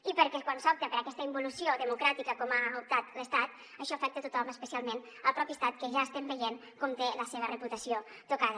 i perquè quan s’opta per aquesta involució democràtica com ha optat l’estat això afecta a tothom especialment el propi estat que ja estem veient com té la seva reputació tocada